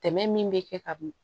Tɛmɛ min bɛ kɛ ka bin